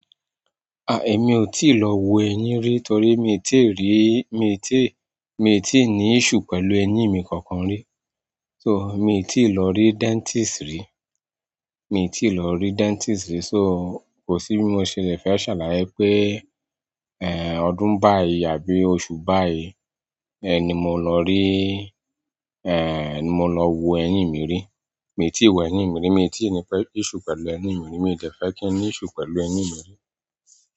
Èmi ò tíì lọ wo ẹyin rí torí mi tíì rí, mi tí, mi tíì ní issue pẹ̀lú ẹyin mi kankan rí. So, miì tíì lọ rí dentist rí, miì tíì lọ rí dentist rí. So, kò sí bí mo ṣe lè fẹ́ ṣàlàyé pé, ọdún báyìí àbí oṣù báyìí, ni mọ lọ rí, mọ lọ wo ẹyin mi rí. Mi tíì wo ẹyin mi rí, mi tíì ní issue pẹ̀lú ẹyin mi rí, mi ò dẹ̀ fẹ́ kí n ní issue pẹ̀lú ẹyin mi rí.